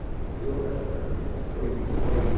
Ninguém piou dali para frente. Foi, foi